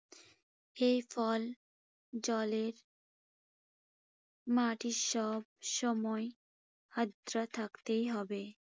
এ ফল জলের মাটি সবসময় আর্দ্র থাকতেই হবে।